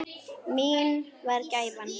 Mín var gæfan.